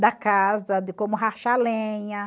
da casa, de como rachar lenha.